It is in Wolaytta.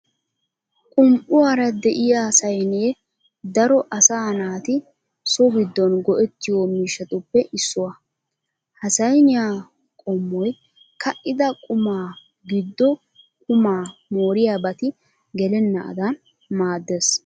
Qum"uwaara de'iya saynee daro asaa naati so giddon go'ettiyo miishshatuppe issuwaa. Ha sayniyaa qommoy ka'ida qumaa giddo qumaa mooriyabati gelenaadan maaddes.